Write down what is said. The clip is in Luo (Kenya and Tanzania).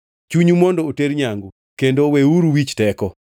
Chunyu mondo oter nyangu, kendo weuru wich teko.